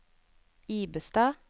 Ibestad